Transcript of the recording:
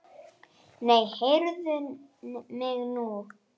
Nei, heyrðu mig nú!